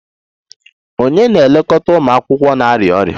Ònye na-elekọta ụmụ akwụkwọ na-arịa ọrịa?